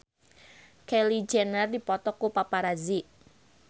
Kylie Jenner dipoto ku paparazi